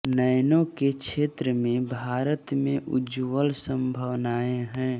nano के क्षेत्र में भारत में उज्ज्वल संभावनाएं हैं